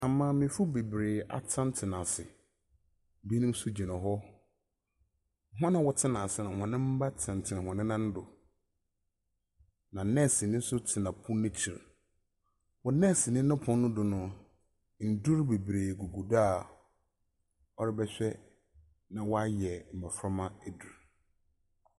Amaamefo bebree atsenatsena ase. Binom nso gyina hɔ. Hɔn a wɔtsena ase no hɔn mba tsenatsena hɔn nan do, na nɛɛseni nso tsena pon ekyir. Wɔ nnɛseni no pon no do no, ndur bebree gugu do a ɔrebɛhwɛ na wayɛ mmɔframma edur.